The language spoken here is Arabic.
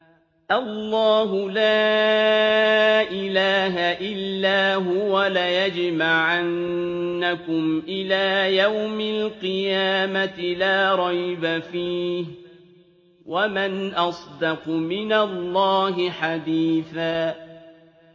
اللَّهُ لَا إِلَٰهَ إِلَّا هُوَ ۚ لَيَجْمَعَنَّكُمْ إِلَىٰ يَوْمِ الْقِيَامَةِ لَا رَيْبَ فِيهِ ۗ وَمَنْ أَصْدَقُ مِنَ اللَّهِ حَدِيثًا